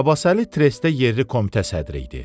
Abbasəli trestə yerli komitə sədri idi.